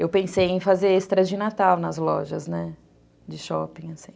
Eu pensei em fazer extras de Natal nas lojas, né, de shopping.